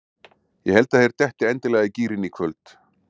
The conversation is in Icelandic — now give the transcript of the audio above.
Ég held að þeir detti endanlega í gírinn í kvöld.